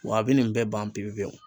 Wa a bi nin bɛɛ ban pewu pewu.